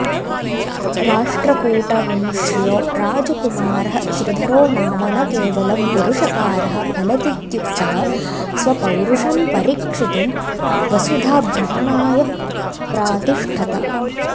राष्ट्रकूटवंश्यो राजकुमारः श्रीधरो नाम न केवलं पुरुषकारः फलतीत्युक्तः स्वपौरुषं परीक्षितुं वसुधाभ्रमणाय प्रातिष्ठत